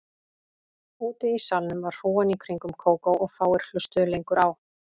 Úti í salnum var hrúgan í kringum Kókó og fáir hlustuðu lengur á